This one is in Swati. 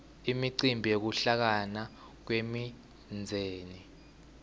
imicimbi yekuhlangana kwemindzeni